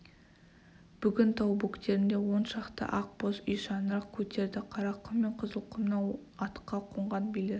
бүгін тау бөктерінде он шақты ақ боз үй шаңырақ көтерді қарақұм мен қызылқұмнан атқа қонған билер